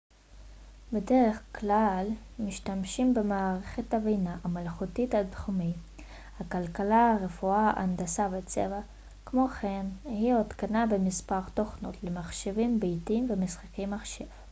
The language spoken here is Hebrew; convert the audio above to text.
בדרך כלל משתמשים במערכת הבינה המלאכותית בתחומי הכלכלה רפואה הנדסה וצבא כמו כן היא הותקנה במספר תוכנות למחשבים ביתיים ומשחקי מחשב